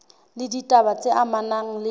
le ditaba tse amanang le